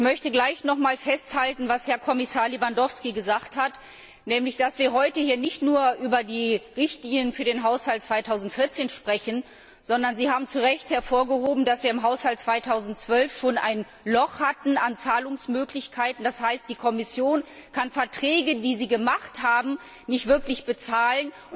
Ich möchte nochmals festhalten, was Herr Kommissar Lewandowski gesagt hat, nämlich, dass wir heute nicht nur über die Richtlinien für den Haushalt 2014 sprechen, sondern Sie haben das zu Recht hervorgehoben dass wir im Haushalt 2012 schon ein Loch an Zahlungsmöglichkeiten hatten, das heißt, die Kommission kann Verträge, die sie abgeschlossen hat, nicht wirklich bezahlen